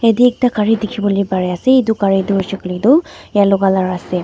jatte ekta gari dekhi bole dekhi Pari ase etu gari tu shakal tu yellow colour ase.